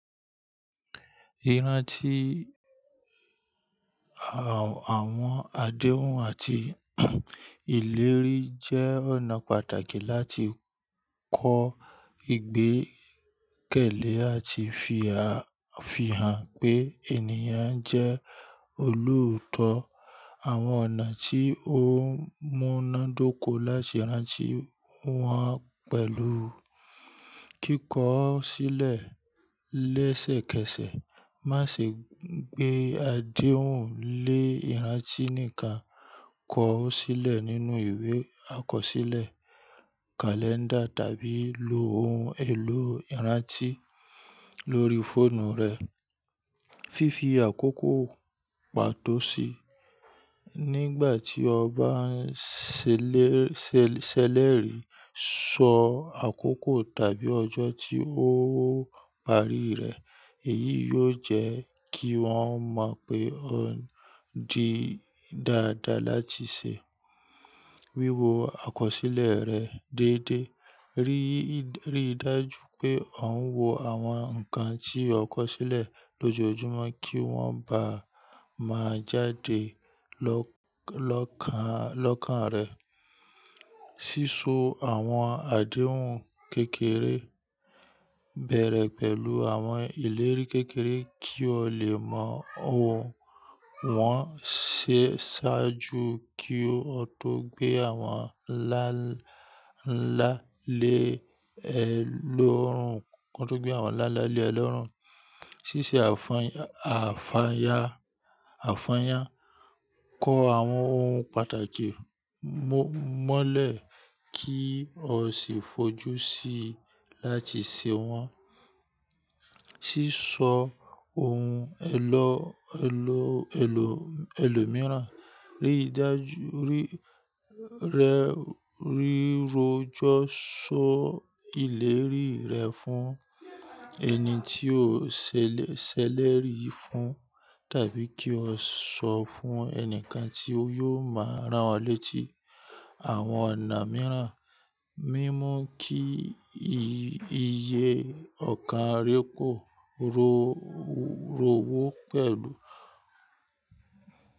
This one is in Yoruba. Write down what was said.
Iranti, àwọn àdéhùn àti ìlérí jẹ́ ọ̀nà pàtàkì láti kọ́ ìgbẹ́kẹ̀lé àti fi hàn pé ènìyàn jẹ́ olootọ́. Àwọn ọ̀nà tí ó múna dóko láti rántí wọ́n pẹ̀lú kíkọ sílẹ̀ lẹ́sẹ̀kẹsẹ̀. Má ṣe gbé àdéhùn lé ìrántí nìkan, kọ ó sílẹ̀ nínú ìwé àkọsílẹ̀, kalẹ́ndà tàbí lo ohun èlò ìrántí lórí fóònù rẹ. Fifi àkókò pàtó sí i nígbà tí o bá ń sele se ṣèlérí, sọ àkókò tàbí ọjọ́ tí ó parí rẹ̀. Èyí yóò jẹ́ kí wọ́n mọ̀ pé ó ń di dáadáa láti ṣe. Wíwo àkọsílẹ̀ rẹ déédé. Ri Rí dájú pé ò ń wo àwọn nǹkan tí ó kọsílẹ̀ lójoojúmọ́ kí wọ́n bá má jáde lọ lọkan lọ́kàn rẹ. Síso àwọn àdéhùn kékeré bẹ̀rẹ̀ pẹ̀lú àwọn ìlérí kékeré kí o lè mọ̀ o wọ́n ṣe ṣáájú kí o tó gbé àwọn nla ńlá lé ẹlòórùn. Kí o tó gbé àwọn ńlá lé ẹlòórùn. Síse àfàyà, àfàyà, àfàyà. Kọ àwọn ohun pàtàkì mọ́lẹ̀ kí o sì fojú sí i láti ṣe wọ́n. Síso ohun èlò, èlò, èlò, èlò mìíràn. Rí dájú, rí, rẹ́, rírọjọ só ìlérí rẹ fún ẹni tí o ṣèlérí fún tàbí kí o sọ fún ẹni kan tí ó yóò máa rán ọ létí. Àwọn ọ̀nà mìíràn, mímú kí iye ọ̀karà kò ròwó pẹ̀lú.